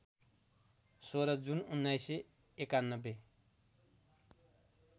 १६ June १९९१